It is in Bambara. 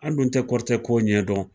An dun tɛ kɔrɔtɛo ɲɛdɔn